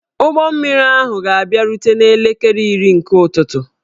Ụgbọ mmiri ahụ ga-abịarute n'elekere iri nke ụtụtụ